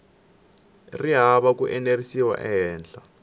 ri hava ku enerisiwa ehenhla